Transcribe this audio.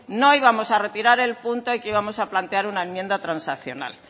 no íbamos a retirar el punto y que íbamos a plantear una enmienda transaccional